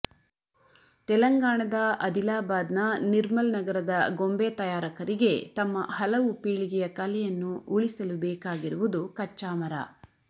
ತೆಲಂಗಾಣದ ಅದಿಲಾಬಾದ್ ನ ನಿರ್ಮಲ್ ನಗರದ ಗೊಂಬೆ ತಯಾರಕರಿಗೆ ತಮ್ಮ ಹಲವು ಪೀಳಿಗೆಯ ಕಲೆಯನ್ನು ಉಳಿಸಲು ಬೇಕಾಗಿರುವುದು ಕಚ್ಚಾ ಮರ